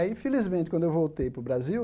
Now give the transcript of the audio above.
Aí, infelizmente, quando eu voltei para o Brasil,